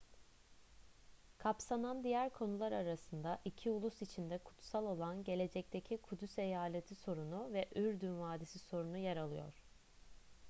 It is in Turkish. kapsanan diğer konular arasında iki ulus için de kutsal olan gelecekteki kudüs eyaleti sorunu ve ürdün vadisi sorunu yer alıyor